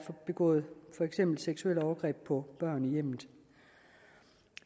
er begået seksuelle overgreb på børn i hjemmet